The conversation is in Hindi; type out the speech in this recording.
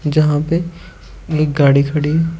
जहां पे एक गाड़ी खड़ी है।